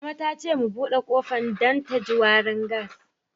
Mama ta ce mu bude kofan dan da ji warin gas.